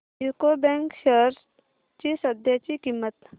UCO bank shares ची सध्याची किंमत